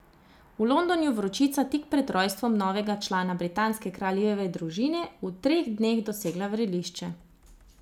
V Londonu vročica tik pred rojstvom novega člana britanske kraljeve družine v teh dneh dosega vrelišče.